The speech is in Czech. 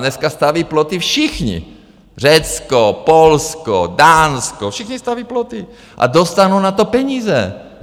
Dneska staví ploty všichni: Řecko, Polsko, Dánsko, všichni staví ploty a dostanou na to peníze.